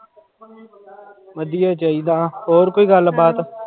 ਵਧੀਆ ਚਾਹੀਦਾ ਹੋਰ ਕੋਈ ਗੱਲਬਾਤ।